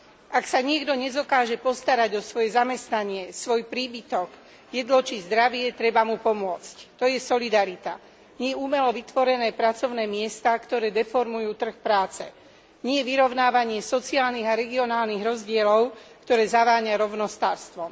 Ak sa niekto nedokáže postarať o svoje zamestnanie, svoj príbytok, jedlo či zdravie, treba mu pomôcť, to je solidarita. Nie umelo vytvorené pracovné miesta, ktoré deformujú trh práce, nie vyrovnávanie sociálnych a regionálnych rozdielov, ktoré zaváňa rovnostárstvom.